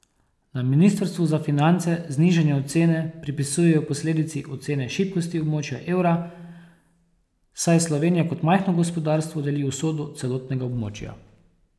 Na ministrstvu za finance znižanje ocene pripisujejo posledici ocene šibkosti območja evra, saj Slovenija kot majhno gospodarstvo deli usodo celotnega območja.